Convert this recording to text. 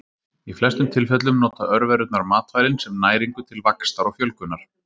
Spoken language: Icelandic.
Í flestum tilfellum nota örverurnar matvælin sem næringu til vaxtar og fjölgunar.